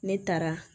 Ne taara